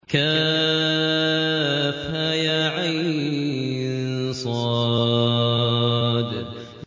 كهيعص